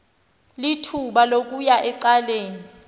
lithuba lokuya ecaleni